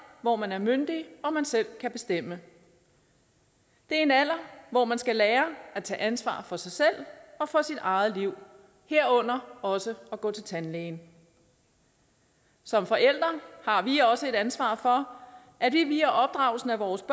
hvor man er myndig og man selv kan bestemme det er en alder hvor man skal lære at tage ansvar for sig selv og for sit eget liv herunder også at gå til tandlægen som forældre har vi også et ansvar for at vi via opdragelsen af vores